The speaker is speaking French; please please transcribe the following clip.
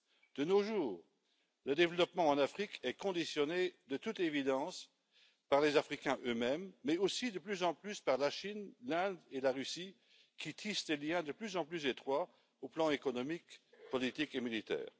De nos jours, le développement en Afrique est conditionné, de toute évidence, par les Africains eux mêmes, mais aussi de plus en plus par la Chine, l'Inde et la Russie qui tissent des liens de plus en plus étroits sur le plan économique, politique et militaire.